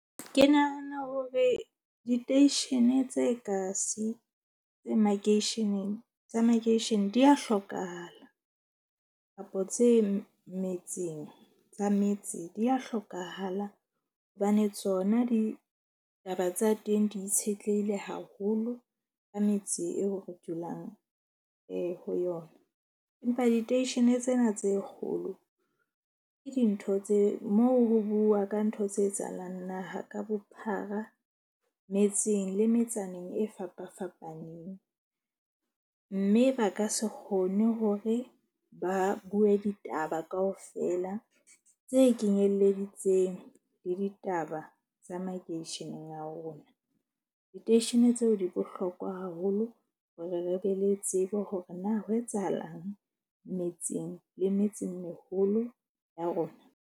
Ke nahana hore diteishene tse kasi tse makeisheneng tsa makeishene di ya hlokahala, kapo tse metseng tsa metse, di ya hlokahala. Hobane tsona ditaba tsa teng di itshetlehile haholo ka metse eo re dulang ho yona. Empa diteishene tsena tse kgolo ke dintho tse moo ho bua ka ntho tse etsahalang naha ka bophara. Metseng le metsaneng e fapafapaneng, mme ba ka se kgone hore ba bue ditaba kaofela tse kenyelleditseng le ditaba tsa makeisheneng a rona. Diteishene tseo di bohlokwa haholo hore re be le tsebo hore na ho etsahalang metseng le metse meholo ya rona.